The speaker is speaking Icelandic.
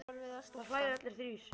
Þeir hlæja allir þrír.